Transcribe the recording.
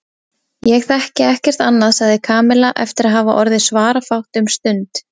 Ég þekki ekkert annað sagði Kamilla eftir að hafa orðið svarafátt um stund.